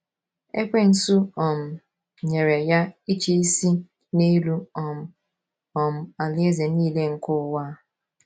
Ekwensu um nyere ya ịchịisi n’elu um “ um alaeze nile nke ụwa. ”